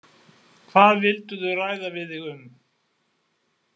Hvað vildu þau ræða við þig um?